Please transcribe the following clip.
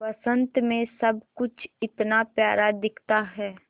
बसंत मे सब कुछ इतना प्यारा दिखता है